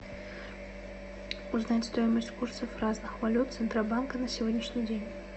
узнать стоимость курса разных валют центробанка на сегодняшний день